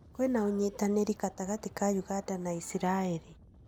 Kwĩna ũnyitanĩri gatagatĩ ka ũganda na Israĩri